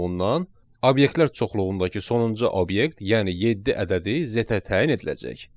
ondan obyektlər çoxluğundakı sonuncu obyekt, yəni yeddi ədədi z-ə təyin ediləcək.